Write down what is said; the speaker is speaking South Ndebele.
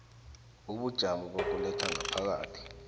ubujamo bokuletha ngaphakathi